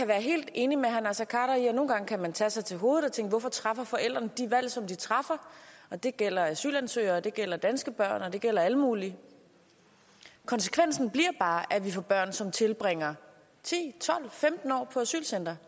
være helt enig med herre naser khader i at nogle gange kan man tage sig til hovedet og tænke hvorfor træffer forældrene de valg som de træffer det gælder asylansøgere det gælder danske børn og det gælder alle mulige konsekvensen bliver bare at vi får børn som tilbringer ti tolv femten år på asylcentre